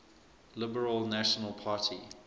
liberal national party